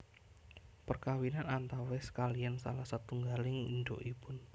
Perkawinan antawis kaliyan salah satunggaling indukipun